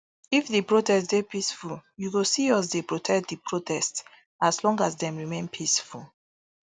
if di protest dey peaceful you go see us dey protect di protest as long as dem remain peaceful